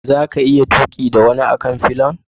Za ka iya tuki da wani a kan fillion?